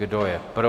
Kdo je pro?